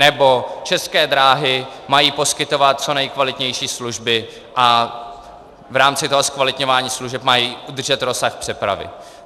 nebo České dráhy mají poskytovat co nejkvalitnější služby a v rámci toho zkvalitňování služeb mají udržet rozsah přepravy;